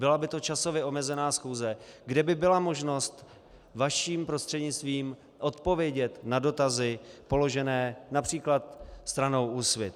Byla by to časově omezená schůze, kde by byla možnost vaším prostřednictvím odpovědět na dotazy položené například stranou Úsvit.